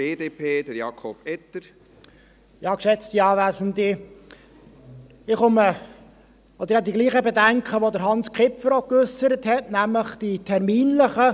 Ich habe die gleichen Bedenken, die auch Hans Kipfer geäussert hat, nämlich die terminlichen.